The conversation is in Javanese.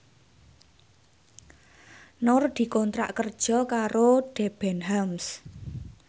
Nur dikontrak kerja karo Debenhams